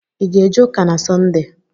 I ga eje ụka na Sọnde?